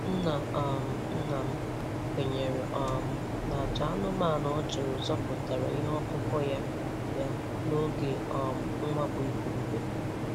Nna um nna m kwenyere um na àjà anụmanụ ọ chụrụ zọpụtara ihe ọkụkụ ya ya n'oge um mwakpo igurube.